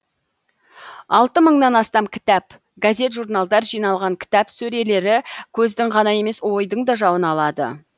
алты мыңнан астам кітап газет журналдар жиналған кітап сөрелері көздің ғана емес ойдың да жауын алады